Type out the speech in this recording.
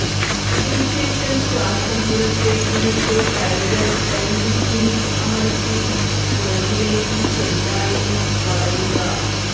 അതിനു ശേഷം ശ്വാസം പുറത്തേക്കു വിട്ടു കൈകൾ പെൽവിസിൽ അമർത്തി പുറകിലേക്ക് ചെറുതായി വളയുക